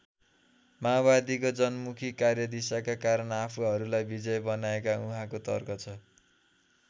माओवादीको जनमुखी कार्यदिशाका कारण आफूहरूलाई विजयी बनाएको उहाँको तर्क छ।